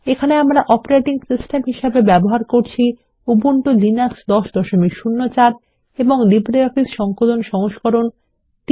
এখানে আমরা আমাদের অপারেটিং সিস্টেম হিসেবে ব্যবহার করছি উবুন্টু লিনাক্স 1004 এবং লিব্রিঅফিস সংকলন সংস্করণ 334